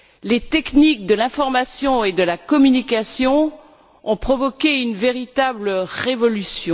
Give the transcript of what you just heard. Les techniques de l'information et de la communication ont provoqué une véritable révolution.